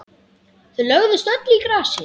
Þau lögðust öll í grasið.